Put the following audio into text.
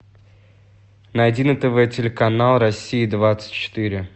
найди на тв телеканал россия двадцать четыре